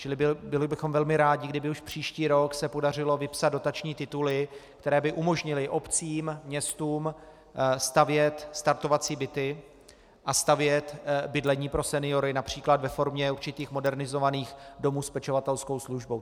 Čili byli bychom velmi rádi, kdyby už příští rok se podařilo vypsat dotační tituly, které by umožnily obcím, městům stavět startovací byty a stavět bydlení pro seniory například ve formě určitých modernizovaných domů s pečovatelskou službou.